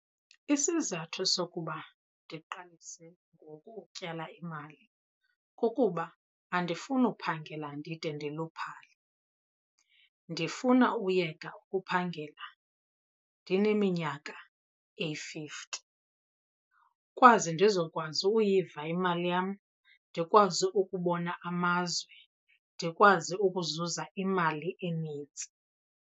Isizathu sokuba ndiqalise ngoku ukutyala imali kukuba andifuni uphangela ndide ndiluphale. Ndifuna uyeka ukuphangela ndineminyaka eyi-fifty kwaze ndizokwazi uyiva imali yam, ndikwazi ukubona amazwe, ndikwazi ukuzuza imali enintsi.